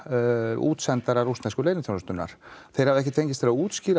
útsendara rússnesku leyniþjónustunnar þeir hafa ekki fengist til að útskýra